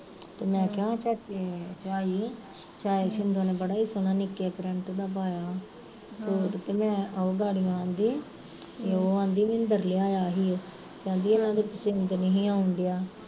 ਮੈਂ ਕਿਹਾ ਚਾਈ ਚਾਈ ਸ਼ਿੰਦੋਂ ਨੇ ਬੜਾ ਈ ਸੋਹਣਾ ਨਿੱਕੇ print ਦਾ ਪਾਇਆ ਸੂਟ, ਤੇ ਓਹ ਗੜਿਓ ਕਹਿੰਦੀ, ਓਹ ਐਂਦੀ ਮਿੰਦਰ ਲਿਆਇਆ ਸੀ, ਕਹਿੰਦੀ ਇਨਾ ਦੇ ਪੱਸਿਦ ਨੀ ਸੀ ਆਉਣ ਡਿਆ